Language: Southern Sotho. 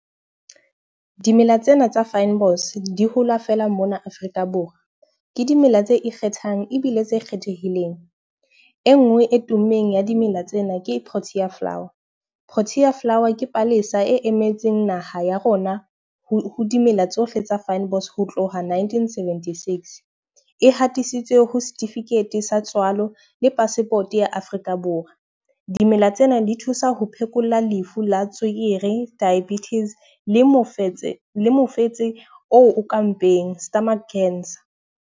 Dimela tsena tsa fynbos di hola fela mona Afrika Borwa. Ke dimela tse ikgethang ebile tse kgethehileng. E nngwe e tummeng ya dimela tsena ke Protea Flower, Protea Flower ke palesa e emetseng naha ya rona ho ho dimela tsohle tsa fynbos ho tloha nineteen-seventy-six, e hatisitswe ho certificate sa tswalo le passport ya Afrika Borwa. Dimela tsena di thusa ho phekola lefu la tswekere, diabetes le mofetse le mofetse o ka mpeng, stomach cancer.